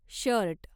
shirt